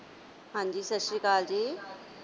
ਹਾਂ ਜੀ ਸਤਿ ਸ੍ਰੀ ਅਕਾਲ ਜੀ।